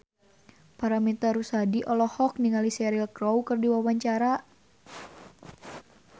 Paramitha Rusady olohok ningali Cheryl Crow keur diwawancara